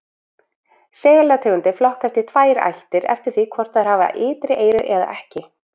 Selategundir flokkast í tvær ættir eftir því hvort þær hafa ytri eyru eða ekki.